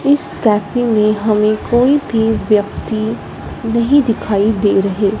इस कैफे में हमें कोई भी व्यक्ति नहीं दिखाई दे रहे।